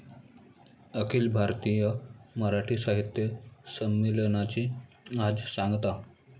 अखिल भारतीय मराठी साहित्य संमेलनाची आज सांगता